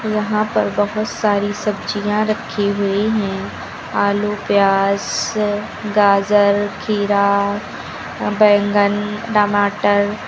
यहां पर बहुत सारी सब्जियां रखी हुई हैं आलू प्याज स गाजर खीरा बैंगन टमाटर।